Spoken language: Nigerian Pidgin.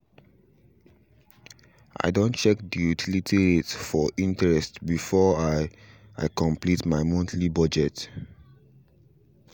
i done check the utility rate for internet before i i complete my monthly budget